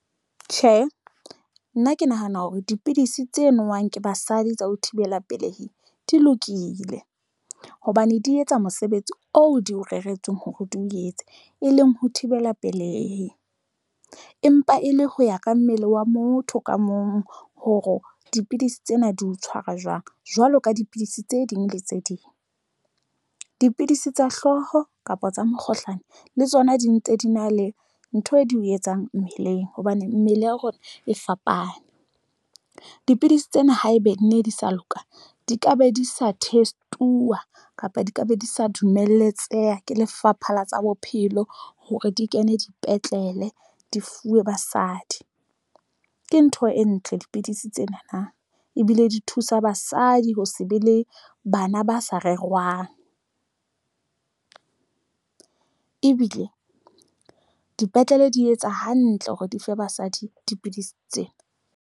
Tjhe, nna ke nahana hore dipidisi tse nowang ke basadi tsa ho thibela pelehi di lokile hobane di etsa mosebetsi oo di o reretsweng hore di o etse, e leng ho thibela pelehi, empa e le ho ya ka mmele wa motho ka mong. Hore dipidisi tsena di o tshwara jwang jwalo ka dipidisi tse ding le tse ding, dipidisi tsa hlooho kapa tsa mokgohlane le tsona di ntse di na le ntho di o etsang mmeleng hobane mmele ya rona e fapane. Dipidisi tsena haebe nne di sa loka di ka be di sa test-uwa kapa di ka be di sa dumelletseha ke Lefapha la tsa Bophelo hore di kene dipetlele di fuwe basadi ke ntho e ntle dipidisi tsena na ebile di thusa basadi ho se be le bana ba sa rerwang, ebile dipetlele di etsa hantle hore dife basadi dipidisi tsena.